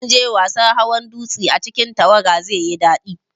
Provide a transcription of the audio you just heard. Zanje wasan hawan dutse a cikin tawaga, zaiyi dadi